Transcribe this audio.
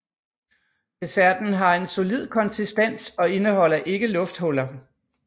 Desserten har en solid konsistens og indeholder ikke lufthuller